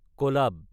কলাব